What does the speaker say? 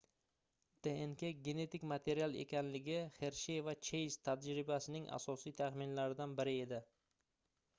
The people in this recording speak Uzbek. dnk genetik material ekanligi xershey va cheyz tajribasining asosiy taxminlaridan biri edi